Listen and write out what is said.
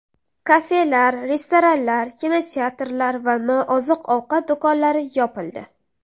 Kafelar, restoranlar, kinoteatrlar va nooziq-ovqat do‘konlari yopildi .